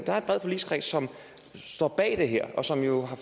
har en bred forligskreds som står bag det her og som jo